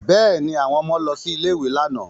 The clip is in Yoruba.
Bẹ́ẹ̀ ni, àwọn ọmọ lọ sí ilé-ìwé lánàá